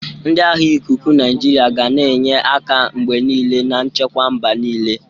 Ndị agha ikuku Naijiria ga na-enye aka mgbe niile na nchekwa mba niile.